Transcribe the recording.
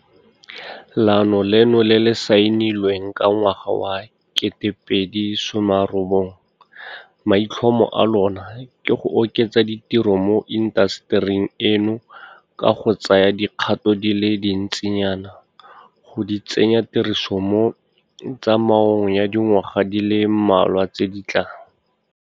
Leano leno le le saenilweng ka ngwaga wa 2019, maitlhomo a lona ke go oketsa ditiro mo intasetering eno ka go tsaya dikgato di le dintsinyana go di tsenya tirisong mo tsamaong ya dingwaga di le mmalwa tse di tlang.